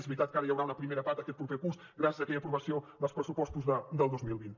és veritat que ara hi haurà una primera part aquest curs gràcies a l’aprovació d’aquests pressupostos del dos mil vint